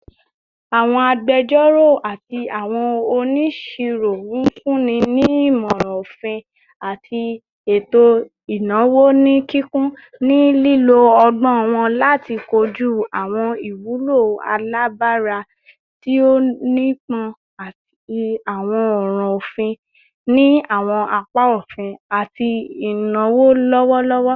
Awọn agbẹjọro ati awọn oniṣiro n funni ni imọran ofin ati eto inawo ni kikun, ni lilo ọgbọn wọn lati koju awọn iwulo alabara ti o nipọn ati awọn ọran ofin ni awọn apa ofin ati inawo lọwọlọwọ